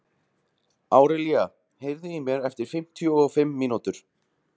Árelía, heyrðu í mér eftir fimmtíu og fimm mínútur.